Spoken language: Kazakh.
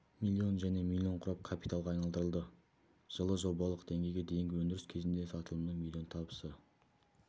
миллион және миллион құрап капиталға айналдырылды жылы жобалық деңгейге дейінгі өндіріс кезіндегі сатылымның миллион табысы